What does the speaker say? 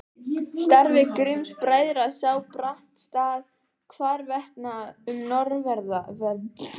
Starfi Grimms-bræðra sá brátt stað hvarvetna um norðanverða